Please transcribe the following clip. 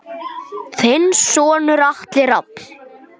Þinn sonur Atli Rafn.